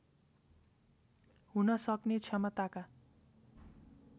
हुन सक्ने क्षमताका